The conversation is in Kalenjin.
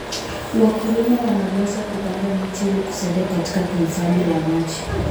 Wakulima wanapaswa kupanda miti ili kusaidia katika uhifadhi wa maji.